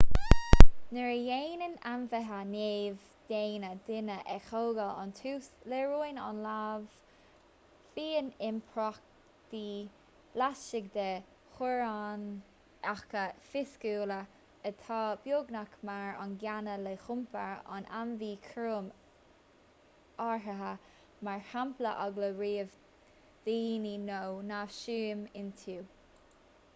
nuair a dhéanann ainmhithe neamh-dhaonna duine a thógáil ón tús léiríonn an leanbh fiáin iompraíochtaí laistigh de theorainneacha fisiciúla atá beagnach mar an gcéanna le hiompar an ainmhí chúraim áirithe mar shampla eagla roimh dhaoine nó neamhshuim iontu